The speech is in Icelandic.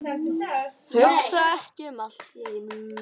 Hugsa ekki um allt í einu.